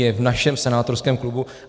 Je v našem senátorském klubu.